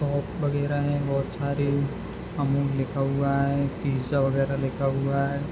वगेरा है बहुत सारी अमूल लिखा हुआ है पिज़्ज़ा वगेरा लिखा हुआ है ।